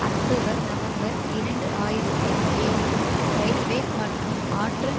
October November இரண்டு ஆயிரத்தில் ஏழில் இரயில்வே மற்றும் ஆற்றல்